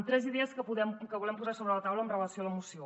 tres idees que volem posar sobre la taula amb relació a la moció